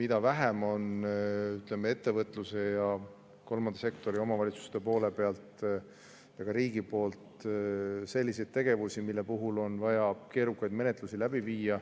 Mida vähem on ettevõtluse ja kolmanda sektori, omavalitsuste poole peal ja ka riigil selliseid tegevusi, mille puhul on vaja keerukaid menetlusi läbi viia,